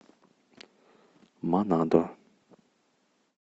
манадо